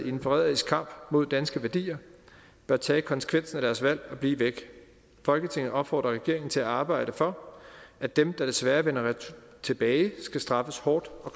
i en forræderisk kamp mod danske værdier bør tage konsekvensen af deres valg og blive væk folketinget opfordrer regeringen til at arbejde for at den der desværre vender tilbage skal straffes hårdt og